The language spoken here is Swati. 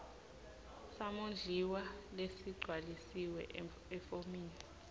samondliwa lesigcwalisiwe efomini